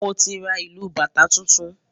Moti ra ìlù bàtá tuntun